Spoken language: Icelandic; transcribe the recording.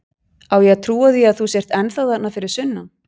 Á ég að trúa því að þú sért ennþá þarna fyrir sunnan?